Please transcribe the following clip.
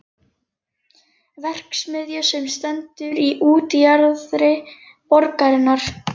verksmiðju sem stendur í útjaðri borgarinnar.